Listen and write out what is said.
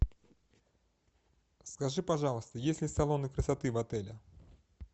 скажи пожалуйста есть ли салоны красоты в отеле